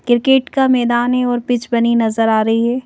Cricket का मैदान है और पिच बनी नजर आ रही है।